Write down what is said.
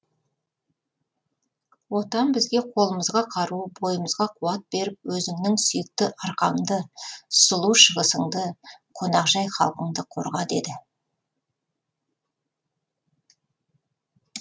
отан бізге қолымызға қару бойымызға қуат беріп өзіңнің сүйікті арқаңды сұлу шығысыңды қонақжай халқыңды қорға деді